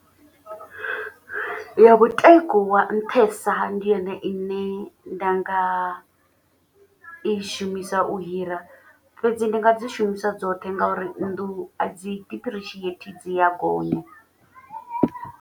Ya mutengo wa nṱhesa ndi yone ine nda nga i shumisa u hira. Fhedzi ndi nga dzi shumisa dzoṱhe ngauri nnḓu a dzi diphurishieithi dzi ya gonya.